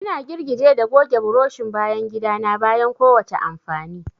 Ina girgije da goge burushin bayan gida na bayan kowace amfani.